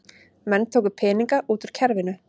Menn tóku peninga út úr kerfinu